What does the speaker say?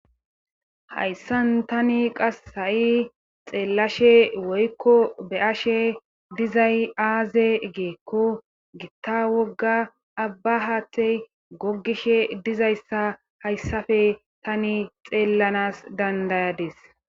hayssan tani qas ha7i xeellashe woykko be ashe dizay aaze geekko gitta wogga abba haatey gogishe dizayssa hayssafe tani xeellanas dandayades